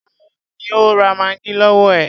Tani ó ra maggi lọwọ ẹ?